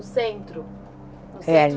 Centro